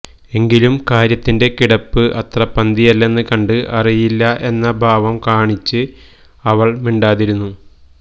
എങ്കിലും കാര്യത്തിന്റെ കിടപ്പ് അത്ര പന്തിയല്ലെന്നു കണ്ട് അറിയില്ല എന്ന ഭാവം കാണിച്ച് അവള് മിണ്ടാതിരുന്നു